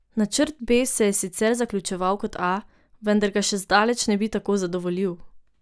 Načrt B se je sicer zaključeval kot A, vendar ga še zdaleč ne bi tako zadovoljil.